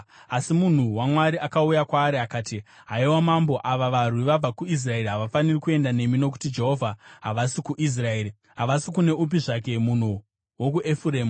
Asi munhu waMwari akauya kwaari akati, “Haiwa Mambo, ava varwi vabva kuIsraeri havafaniri kuenda nemi nokuti Jehovha havasi kuIsraeri, havasi kune upi zvake munhu wokuEfuremu.